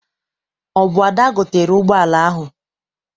Ọ bụ Ada gotere ụgbọala ahụ.